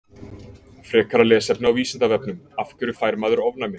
Frekara lesefni á Vísindavefnum: Af hverju fær maður ofnæmi?